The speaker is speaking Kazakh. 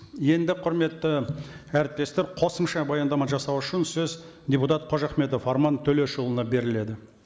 енді құрметті әріптестер қосымша баяндама жасау үшін сөз депутат қожахметов арман төлешұлына беріледі